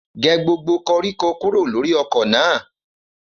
Gẹ gbògbó kọrikọ kúrọ lọ̀rí ọkọ na!